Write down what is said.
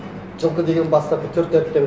жылқы деген бастапқы төрт әріпте